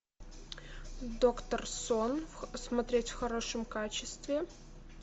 доктор сон смотреть в хорошем качестве